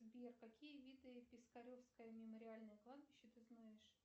сбер какие виды пескаревское мемориальное кладбище ты знаешь